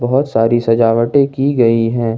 बहोत सारी सजावटे की गई है।